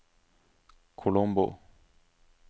Colombo